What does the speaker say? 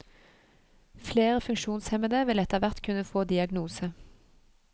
Flere funksjonshemmede vil etterhvert kunne få diagnose.